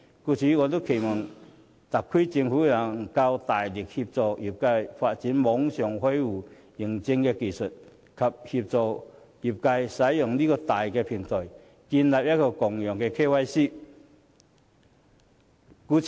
故此，我期望特區政府能夠大力協助業界發展網上開戶認證技術，以及協助業界建立共用的 KYC 平台。